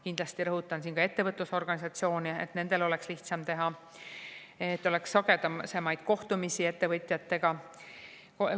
Kindlasti rõhutan siin ka ettevõtlusorganisatsioone, et nendel oleks seda lihtsam teha, et oleks sagedasemaid kohtumisi ettevõtjatega.